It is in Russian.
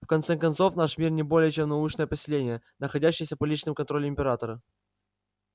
в конце концов наш мир не более чем научное поселение находящееся под личным контролем императора